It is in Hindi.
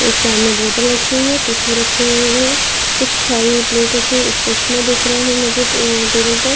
एक सामने बोतल रखी हुई है टिशू रखे हुए हैं कुछ खाई हुई प्लेट रखी एक चश्मा दिख रहा है मुझे टेबल पर--